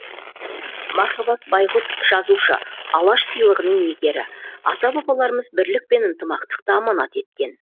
мархабат байғұт жазушы алаш сыйлығының иегері ата бабаларымыз бірлік пен ынтымақтықты аманат еткен